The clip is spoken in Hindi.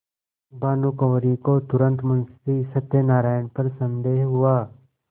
भानुकुँवरि को तुरन्त मुंशी सत्यनारायण पर संदेह हुआ